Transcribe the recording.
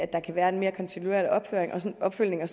der kan være en mere kontinuerlig opfølgning og